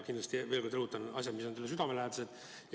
Ma veel kord rõhutan, et need on asjad, mis on mulle südamelähedased.